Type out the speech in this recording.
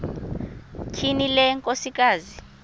tyhini le nkosikazi